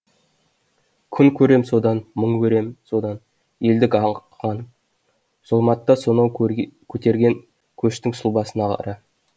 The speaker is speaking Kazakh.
күн көрем содан мұң өрем содан елдік аңқыған зұлматта сонау көтерген көштің сұлбасын қара